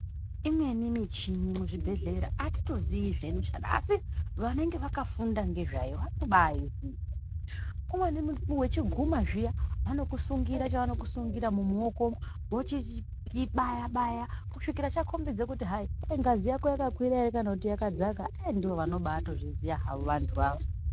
Imweni michini muzvibhehlera atitoziyi zveinoshanda asi vanenge vakafunda nezvayo vari kubaiziya zveinoshanda. Umweni munthu wechiguma zviya anokusungira chaanokusungira mumaoko vochichibaya baya kusvikira chakombidza kuti hai ngazi yako yakakwira ere kana kuti yakadza andivo vanobatozviziya havo anthu akona.